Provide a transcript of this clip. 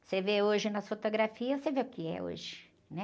Você vê hoje nas fotografias, você vê o que é hoje, né?